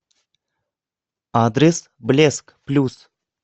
адрес блеск плюс